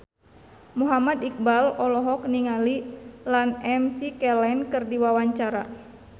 Muhammad Iqbal olohok ningali Ian McKellen keur diwawancara